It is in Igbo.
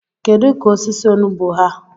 kedu ka osisi onugbo ha?